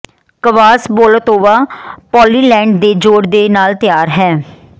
ਕਵਾਸ ਬੋਲੋਤੋਵਾ ਪੋਲਿਲੈਂਡ ਦੇ ਜੋੜ ਦੇ ਨਾਲ ਤਿਆਰ ਹੈ